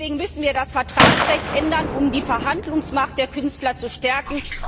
Deswegen müssen wir das Vertragsrecht ändern, um die Verhandlungsmacht der Künstler zu stärken.